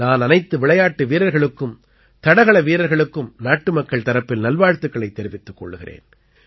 நான் அனைத்து விளையாட்டு வீரர்களுக்கும் தடகள வீரர்களுக்கும் நாட்டுமக்கள் தரப்பில் நல்வாழ்த்துக்களைத் தெரிவித்துக் கொள்கிறேன்